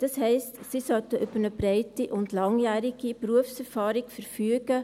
Das heisst, sie sollten über eine breite und langjährige Berufserfahrung verfügen.